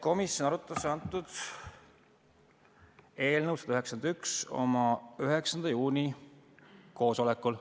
Komisjon arutas eelnõu 191 oma 9. juuni koosolekul.